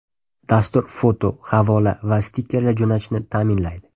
Dastur foto, havola va stikerlar jo‘natishni ta’minlaydi.